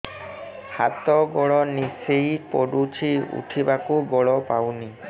ହାତ ଗୋଡ ନିସେଇ ପଡୁଛି ଉଠିବାକୁ ବଳ ପାଉନି